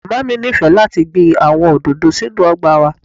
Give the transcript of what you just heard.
Mama mi nifẹ lati gbin awọn ododo sinu ọgba wa.